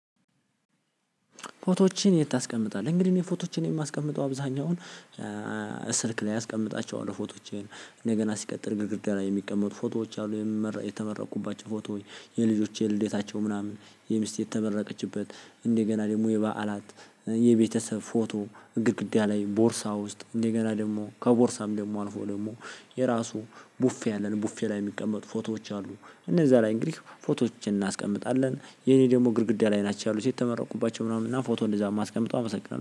ፎቶዎችን የት ታስቀምጣለህ? እንግዲህ እኔ ፎቶዎችን የማስቀምጠው አብዛኛውን ስልክ ላይ አስቀምጣቸዋለሁ ፎቶዎች እንደገና ሲቀጥል ግድግዳ ላይ የሚቀመጡ ፎቶዎች አሉ። የተመረቁባቸው ፎቶ የልጆቼ የልዴታቸው ምናምን የሚስቴ የተመረቀችበት እንደገና ደግሞ የበዓላት የቤተሰብ ፎቶ ግድግዳ ላይ ቦርሳ ውስጥ የገና ደግሞ ከቦርሳም ደግሞ አልፎ ደግሞ የራሱ ቡፌ አለን ቡፌ ላይ የሚቀመጡ ፎቶዎች አሉ እነዛ ላይ እንግዲህ ፎቶዎችን እናስቀምጣለን። የኔ ደግሞ ግድግዳ ላይ ናቸው ያሉት የተመረቁባቸው ምናምን እና ፎቶ እንደዛ የማስቀምጠው አመሰግናለሁ።